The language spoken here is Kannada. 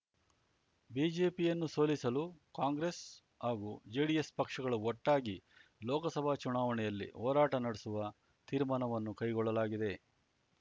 ಬಿಜೆಪಿಯನ್ನು ಸೋಲಿಸಲು ಕಾಂಗ್ರೆಸ್ ಹಾಗೂ ಜೆಡಿಎಸ್ ಪಕ್ಷಗಳು ಒಟ್ಟಾಗಿ ಲೋಕಸಭಾ ಚುನಾವಣೆಯಲ್ಲಿ ಹೋರಾಟ ನಡೆಸುವ ತೀರ್ಮಾನವನ್ನು ಕೈಗೊಳ್ಳಲಾಗಿದೆ